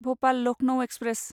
Bhopal Lucknow express